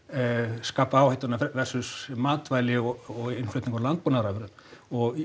skapa áhættuna versus matvæli og innflutningur á landbúnaðarafurðum og